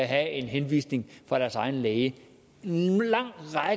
have henvisning fra deres egen læge